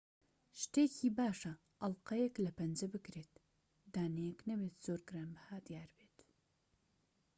شتێکی باشە ئەڵقەیەك لە پەنجە بکرێت دانەیەك نەبێت زۆر گرانبەها دیار بێت